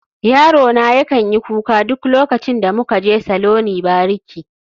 Yarona yakan yi kuka duk lokacin da muka je saloni bariki